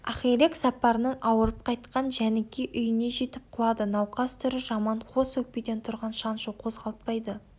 ақирек сапарынан ауырып қайтқан жәніке үйіне жетіп құлады науқас түрі жаман қос өкпеден тұрған шаншу қозғалтпайды